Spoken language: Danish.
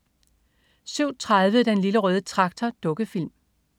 07.30 Den Lille Røde Traktor. Dukkefilm